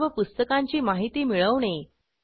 सर्व पुस्तकांची माहिती मिळवणे